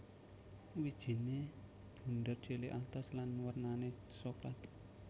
Wijine bunder cilik atos lan wernane soklat